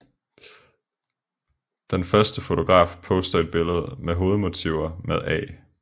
Den første fotograf poster et billede med hovedmotiver med A